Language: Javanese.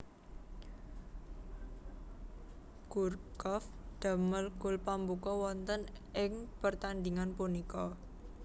Gourcuff damel gol pambuka wonten ing pertandhingan punika